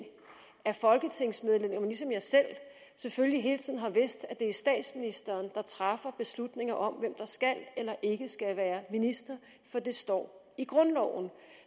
at folketingsmedlemmerne ligesom jeg selv selvfølgelig hele tiden har vidst at det er statsministeren der træffer beslutningen om hvem der skal eller ikke skal være minister for det står i grundloven